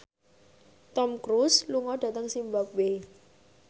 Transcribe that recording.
Tom Cruise lunga dhateng zimbabwe